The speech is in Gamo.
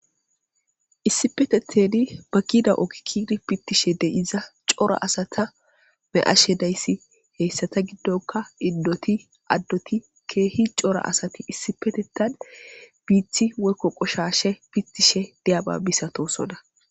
issipetetheni ba kida okikiri pittishe de7iza cora asata me7ashe dayssi heyssata giddoka inddoti addoti keehi cora asati issipetetan biithi woykko qoshashe pittishe diyaba misatosona